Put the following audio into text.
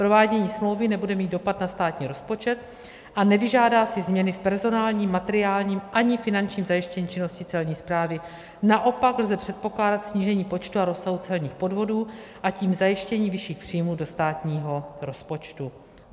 Provádění smlouvy nebude mít dopad na státní rozpočet a nevyžádá si změny v personálním, materiálním ani finančním zajištění činnosti Celní správy, naopak lze předpokládat snížení počtu a rozsahu celních podvodů, a tím zajištění vyšších příjmů do státního rozpočtu.